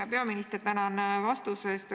Hea peaminister, tänan vastuse eest!